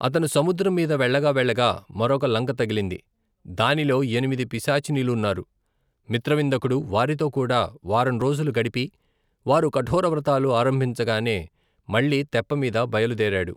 అతను సముద్రం మీద వెళ్ళగా వెళ్ళగా మరొక లంక తగిలింది. దానిలో ఎనిమిది పిశాచినులున్నారు.మిత్రవిందకుడు వారితో కూడా వారం రోజులు గడిపి, వారు కఠోర వ్రతాలు ఆరంభించగానే మళ్ళీ తెప్ప మీద బయలుదేరాడు.